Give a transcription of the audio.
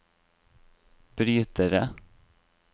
brytere